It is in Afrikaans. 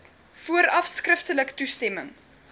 vooraf skriftelik toestemming